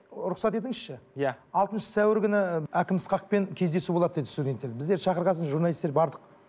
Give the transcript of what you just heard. рұқсат етіңізші иә алтыншы сәуір күні і әкім ысқақпен кездесу болады деді студенттер біздерді шақырған соң журналисттер бардық